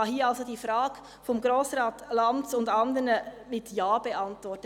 Ich kann hier also die Frage von Grossrat Lanz und anderen mit Ja beantworten.